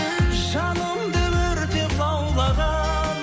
жанымды өртеп лаулаған